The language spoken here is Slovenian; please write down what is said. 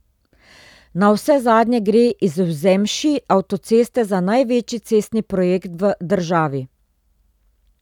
Navsezadnje gre izvzemši avtoceste za največji cestni projekt v državi.